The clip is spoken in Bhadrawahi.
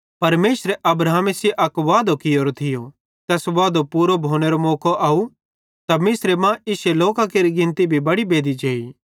परमेशरे अब्राहमे सेइं अक वादो कियोरो थियो तैस वादेरो पूरो भोनेरो मौको अव त मिस्रे मां इश्शे लोकां केरि गिनती भी बड़ी बेद्धी जेई